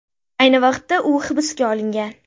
Ayni vaqtda u hibsga olingan.